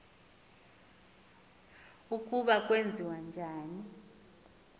ukuba kwenziwa njani